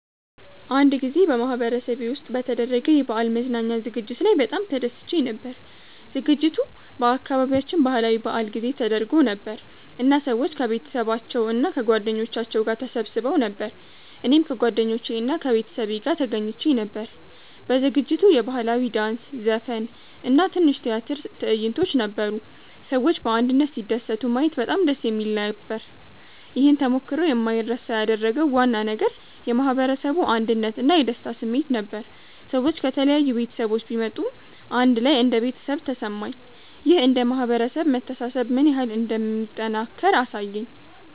አንድ ጊዜ በማህበረሰቤ ውስጥ በተደረገ የበዓል መዝናኛ ዝግጅት ላይ በጣም ተደስቼ ነበር። ዝግጅቱ በአካባቢያችን ባህላዊ በዓል ጊዜ ተደርጎ ነበር እና ሰዎች ከቤተሰባቸው እና ከጓደኞቻቸው ጋር ተሰብስበው ነበር። እኔም ከጓደኞቼ እና ከቤተሰቤ ጋር ተገኝቼ ነበር። በዝግጅቱ የባህላዊ ዳንስ፣ ዘፈን እና ትንሽ የቲያትር ትዕይንቶች ነበሩ። ሰዎች በአንድነት ሲደሰቱ ማየት በጣም ደስ የሚል ነበር። ይህን ተሞክሮ የማይረሳ ያደረገው ዋና ነገር የማህበረሰቡ አንድነት እና የደስታ ስሜት ነበር። ሰዎች ከተለያዩ ቤተሰቦች ቢመጡም አንድ ላይ እንደ ቤተሰብ ተሰማኝ። ይህ እንደ ማህበረሰብ መተሳሰብ ምን ያህል እንደሚጠናከር አሳየኝ።